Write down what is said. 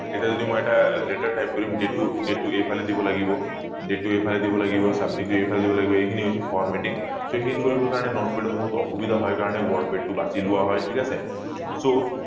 এতিয়া যদি মই এটা latter type কৰিম যিটো date এই ফালে দিব লাগিব যিটো এই ফালে দিব লাগিব subject এই ফালে দিব লাগিব এইখিনি হৈছে formatting so এই খিনি কৰিবৰ কাৰণে notepad ত বহুত অসুবিধা হয় কাৰণে wordpad এইটো বাচি লোৱা হয় ঠিক আছে so